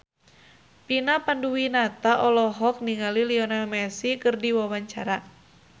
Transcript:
Vina Panduwinata olohok ningali Lionel Messi keur diwawancara